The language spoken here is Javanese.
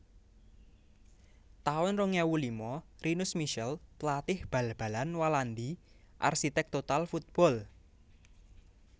taun rong ewu lima Rinus Michels pelatih bal balan Walandi arsitek total football